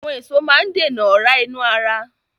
Àwọn èso máa ń dènà ọ̀ra inú ara